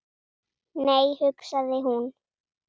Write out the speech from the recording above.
Nei, hugsaði hún.